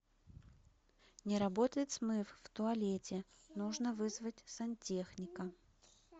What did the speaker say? не работает смыв в туалете нужно вызвать сантехника